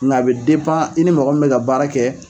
Nka a bɛ i ni mɔgɔ min bɛ ka baara kɛ.